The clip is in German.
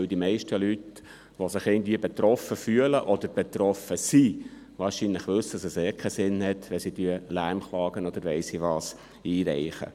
Denn die meisten Leute, die sich irgendwie betroffen fühlen oder betroffen sind, wissen wahrscheinlich, dass es ohnehin keinen Sinn hat, Lärmklagen oder weiss nicht was einzureichen.